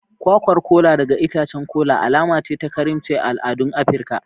Kwayar Kola daga itacen kola alama ce ta karimci a al'adun Afirka.